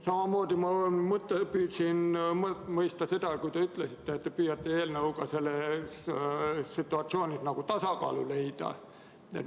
Samamoodi püüdsin ma mõista, kui te ütlesite, et te püüate eelnõuga selles situatsioonis tasakaalu leida.